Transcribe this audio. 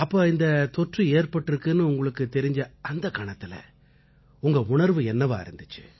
அப்ப இந்தத் தொற்று ஏற்பட்டிருக்குன்னு உங்களுக்குத் தெரிஞ்ச அந்தக் கணத்தில உங்க உணர்வு என்னவா இருந்திச்சு